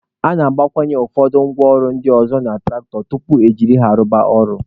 A na-agbakwụnye ụfọdụ ngwa ọrụ ndị ọzọ na tụractọ tupu e jiri ha rụba ọrụ